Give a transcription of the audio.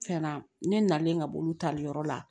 Cɛn na ne nalen ka bolo tali yɔrɔ la